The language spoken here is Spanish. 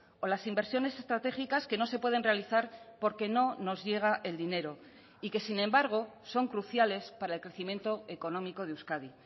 o las inversiones estratégicas que no se pueden realizar porque no nos llega el dinero y que sin embargo son cruciales para el crecimiento económico de euskadi